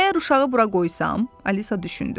Əgər uşağı bura qoysam, Alisa düşündü.